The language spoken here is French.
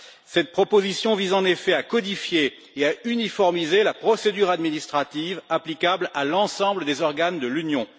Cette proposition vise en effet à codifier et à uniformiser la procédure administrative applicable à l'ensemble des organes de l'Union.